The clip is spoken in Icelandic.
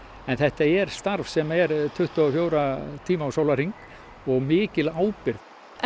en þetta er starf sem er tuttugu og fjóra tíma á sólarhring og mikil ábyrgð